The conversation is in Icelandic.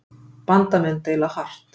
Bandamenn deila hart